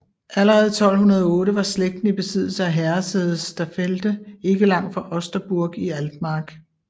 Allerede 1208 var slægten i besiddelse af herresædet Staffelde ikke langt fra Osterburg i Altmark